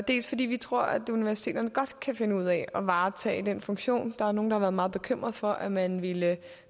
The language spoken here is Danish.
dels fordi vi tror at universiteterne godt kan finde ud af at varetage den funktion der er nogen der har været meget bekymret for at man ville